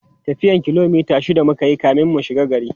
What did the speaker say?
tafiyan kilomita shida mukayi kamin mu shigo gari